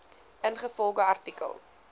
ingevolge artikel